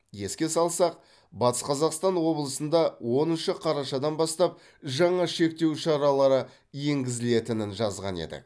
еске салсақ батыс қазақстан облысында оныншы қарашадан бастап жаңа шектеу шаралары енгізілетінін жазған едік